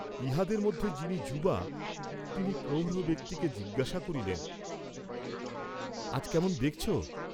ইহাদের মধ্যে যিনি যুবা তিনি প্রৌঢ় ব্যক্তিকে জিজ্ঞাসা করিলেন আজ কেমন দেখছ?